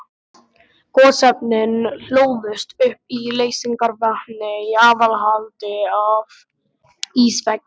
Gosefnin hlóðust upp í leysingarvatni í aðhaldi af ísveggjum.